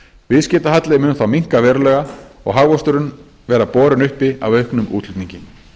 viðskiptahalli mun þá minnka verulega og hagvöxturinn vera borinn uppi af auknum útflutningi